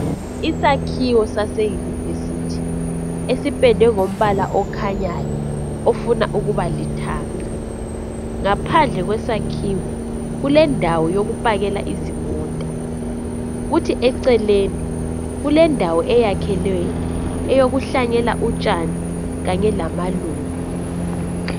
Isakhiwo sase university esipendwe ngombala okhanyayo ofuna ukuba lithanga ngaphandle kwesakhiwo kulendawo yokupakela izimota kuthi eceleni kulendawo eyakhelweyo eyokuhlanyela utshani kanye lamaluba.